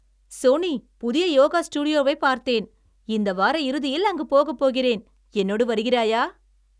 Sony, புதிய யோகா ஸ்டுடியோவை பார்த்தேன். இந்த வார இறுதியில் அங்கு போகப் போகிறேன். என்னோடு வருகிறாயா?